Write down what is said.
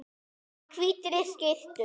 Í hvítri skyrtu.